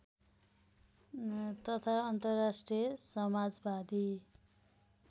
तथा अन्तर्राष्ट्रिय समाजवादी